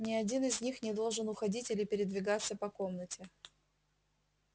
ни один из них не должен уходить или передвигаться по комнате